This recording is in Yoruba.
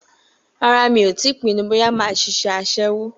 Rárá, mi ò tíì pinnu bóyá mo máa ṣiṣẹ́ aṣẹ́wó?